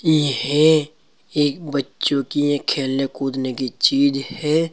यह एक बच्चों की ये खेलने कूदने की चीज है।